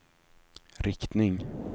riktning